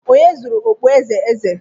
Onye zuru okpueze eze?